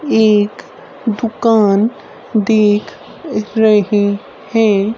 एक दुकान देख रहे है।